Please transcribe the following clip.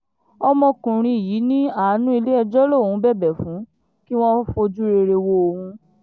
ọmọkùnrin yìí ní àánú ilé-ẹjọ́ lòún ń bẹ̀bẹ̀ fún kí wọ́n fojú rere wo òun